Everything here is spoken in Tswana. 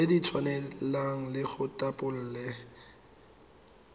tse di tshwanang le ditapole